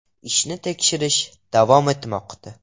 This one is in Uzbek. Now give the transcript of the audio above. Ishni tekshirish davom etmoqda.